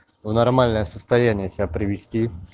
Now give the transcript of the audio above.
в нормальное состояние себя привести